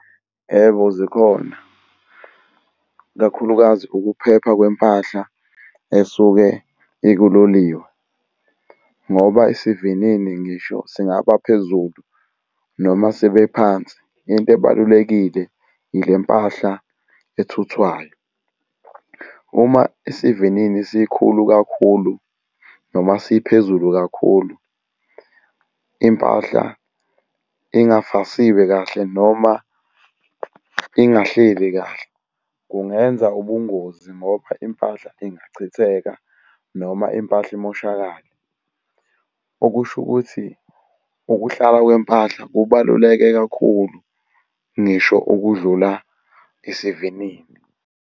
Yebo, zikhona, ikakhulukazi ukuphepha kwempahla esuke ikuloliwe. Ngoba isivinini ngisho singaba phezulu noma sibe phansi into ebalulekile ile mpahla ethuthwayo. Uma isivinini sikhulu kakhulu noma siphezulu kakhulu impahla ingafasiwe kahle, noma ingahleli kahle, kungenza ubungozi ngoba impahla ingachitheka noma impahla imoshakale. Okusho ukuthi ukuhlala kwempahla kubaluleke kakhulu ngisho ukudlula isivinini.